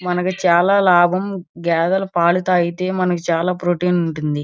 మనకి చాలా లాభం గేదల పాలు తాగితే మనకి చాలా ప్రోటీన్ ఉంటుంది.